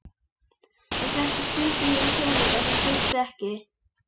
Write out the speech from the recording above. Ef þetta er spurning um peninga þá þarftu ekki.